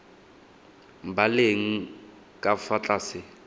ba leng ka fa tlase